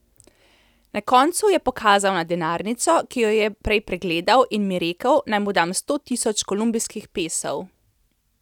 Na koncu je pokazal na denarnico, ki jo je prej pregledal in mi rekel, naj mu dam sto tisoč kolumbijskih pesov.